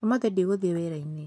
ũmũthĩ ndi gũthiĩ wĩra-inĩ.